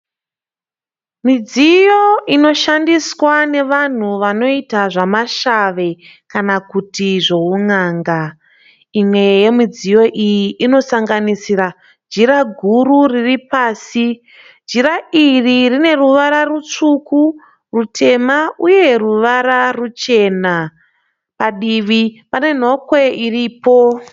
Midziyo inoshandiswa nevanhu vanoita zvemashave kana kuti zvehun'anga. Imwe yemidziyo iyi inosanganisira jira guru riri pasi. Jira iri rine ruvara rutsvuku, rutema uye ruvara ruchena. Padivi pane nhokwe iripo.